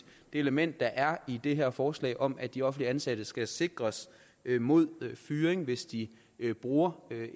element der er i det her forslag om at de offentligt ansatte skal sikres mod fyring hvis de bruger